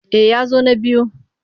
Eh ya zo na biyu.